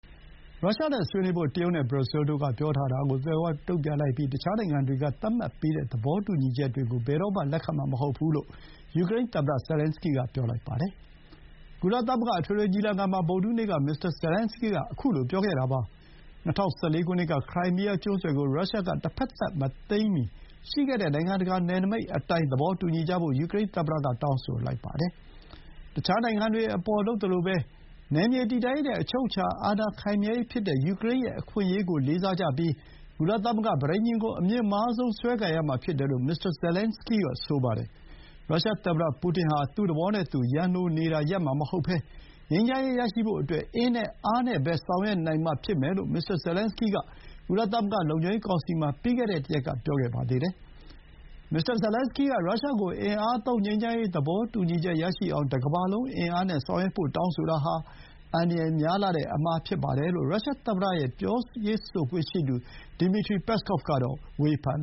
ရုရှားနဲ့ဆွေးနွေးဖို့ တရုတ်နဲ့ဘရာဇီးလ်တို့ပြောတာကို မေးခွန်းထုတ်လိုက်ပြီး တခြားနိုင်ငံတွေကသတ်မှတ်ပေးတဲ့ သဘောတူညီချက်တွေကို ဘယ်တော့မှ လက်ခံမှာမဟုတ်ဘူးလို့ ယူကရိန်းသမ္မတ ဇယ်လင်န်စကီးက ပြောလိုက်ပါတယ်။ ကုလအထွေထွေညီလာခံမှာ ဗုဒ္ဓဟူးနေ့က မစ္စတာ ဇယ်လန်စကီးက ပြောခဲ့တာပါ။ ၂၀၁၄ ခုနှစ်က ခရိုင်းမီးယားကျွန်းဆွယ်ကို ရုရှားက တဖက်သတ် မသိမ်းမီရှိခဲ့တဲ့ နိုင်ငံတကာနယ်နိမိတ်အတိုင်း သဘောတူညီကြဖို့ ယူကရိန်းသမ္မတက တောင်းဆိုလိုက်ပါတယ်။ တခြားနိုင်ငံတွေအပေါ် လုပ်သလိုပဲ နယ်မြေတည်တံ့ရေးနဲ့ အချုပ်အခြာအာဏာ ခိုင်မြဲရေးဖြစ်တဲ့ ယူကရိန်းရဲ့ အခွင့်အရေးကိုလေးစားပြီး ကုလသမဂ္ဂ ပဋိညာဥ်ကို အမြင့်မားဆုံးစွဲကိုင်ရမှာဖြစ်တယ်လို့ မစ္စတာဇယ်လန်စကီးက ဆိုပါတယ်။ ရုရှားသမ္မတပူတင်ဟာ သူ့သဘောနဲ့သူ ရန်လိုနေတာ ရပ်မှာမဟုတ်ဘဲ ငြိမ်းချမ်းရေးရဖို့အတွက် အင်နဲ့အားနဲ့ပဲ ဆောင်ရွက်နိုင်မှဖြစ်မယ်လို့ မစ္စတာဇယ်လင်န်စကီးက ကုလသမဂ္ဂ လုံခြုံရေးကောင်စီမှာ ပြီးခဲ့တဲ့တရက်က ပြောခဲ့ပါသေးတယ်။ မစ္စတာ ဇယ်လင်န်စကီးက ရုရှားကို အင်အားသုံးငြိမ်းချမ်းရေး သဘောတူညီချက်ရအောင် တကမ္ဘာလုံးအားနဲ့ဆောင်ရွက်ဖို့ တောင်းဆိုတာဟာ အန္တရာယ်များလှတဲ့အမှားဖြစ်ပါတယ်လို့ ရုရှားသမ္မတရဲ့ ပြောရေးဆိုခွင့်ရှိသူ Dmitry Peskov ကတော့ ဝေဖန်